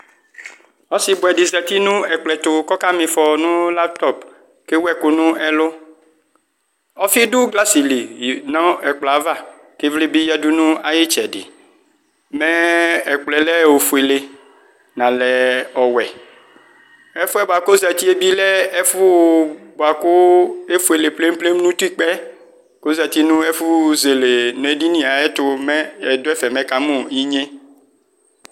Ɔsibuɛdi zati nu ɛkplɔɛtu kɔka mifɔ nu laptɔp kewuɛku nu ɛlu Ɔfi du glas li nu ɛplɔava kivli bi yadu nu ayitsɛdi mɛɛ ɛkplɔɛlɛ ofuele nalɛ ɔwɛ Ɛfuɛ buaku ɔzati ɔlɛ ofuele pleple nutikpa kɔzati nu ɛfu zele nedini ayɛtu mɛ ɛduɛfɛ me ekamu inye